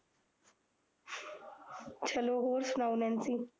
ਚਲੋ ਹੋਰ ਸੁਣਾਉ ਨੈਨਸੀ